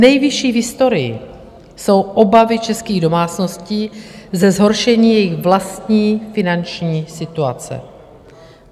Nejvyšší v historii jsou obavy českých domácností ze zhoršení jejich vlastní finanční situace.